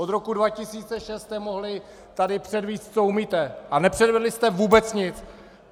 Od roku 2006 jste mohli tady předvést, co umíte, a nepředvedli jste vůbec nic!